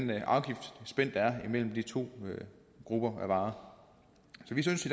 imellem de to grupper af varer så vi synes i